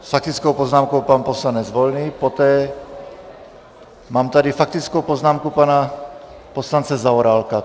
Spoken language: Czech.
S faktickou poznámkou pan poslanec Volný, poté mám tady faktickou poznámku pana poslance Zaorálka.